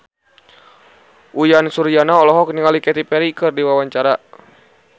Uyan Suryana olohok ningali Katy Perry keur diwawancara